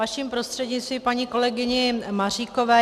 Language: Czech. Vaším prostřednictvím paní kolegyni Maříkové.